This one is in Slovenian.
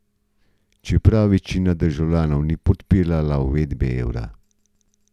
Čeprav večina državljanov ni podpirala uvedbe evra.